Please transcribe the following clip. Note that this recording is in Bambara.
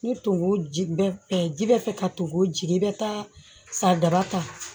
Ni togo bɛɛ ji bɛ fɛ ka tungo jigin i bɛ taa sadaba ta